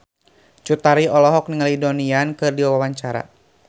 Cut Tari olohok ningali Donnie Yan keur diwawancara